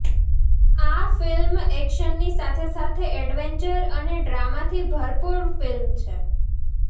આ ફિલ્મ એકશનની સાથે સાથે એડવેન્ચર અને ડ્રામાથી ભરપૂર ફિલ્મ છે